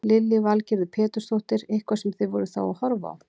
Lillý Valgerður Pétursdóttir: Eitthvað sem þið voruð þá að horfa á?